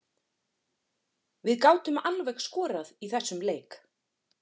Við gátum alveg skorað í þessum leik.